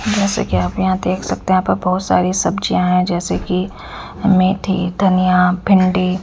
जैसे कि आप यहां देख सकते हैं यहां पे बहोत सारी सब्जियां है जैसे कि मेथी धनिया भिंडी--